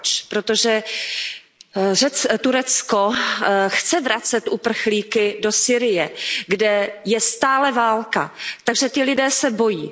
Proč? Protože Turecko chce vracet uprchlíky do Sýrie, kde je stále válka, takže ti lidé se bojí.